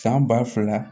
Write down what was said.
San ba fila